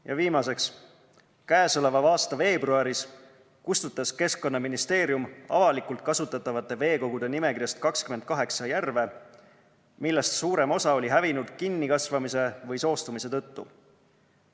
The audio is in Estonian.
Ja viimaseks, käesoleva aasta veebruaris kustutas Keskkonnaministeerium avalikult kasutatavate veekogude nimekirjast 28 järve, millest suurem osa oli hävinud kinnikasvamise või soostumise tõttu.